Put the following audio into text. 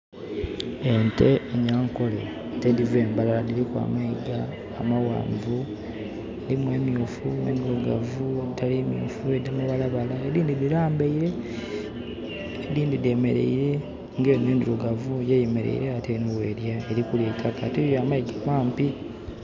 Ente enyankole ate ediva e Mbarara diriku amayiga amawanvu. Dirimu emyufu, endirugavu, editarimyufu, edirimu amabalabala edindi dirambaire edindi demereire, nga endirugavu eno eyemereire ate bwelya. Erikulya eitakka ate nga ya mayiga mampi